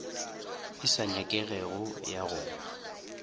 e sa nyakegego ya go